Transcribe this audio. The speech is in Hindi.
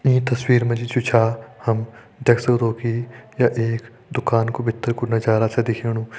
ईं तस्वीर मा जु छ हम देख सकदु की ये एक दुकान का भितर कु नजारा छ दिखेणु।